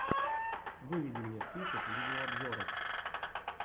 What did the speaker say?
выведи мне список видеообзоров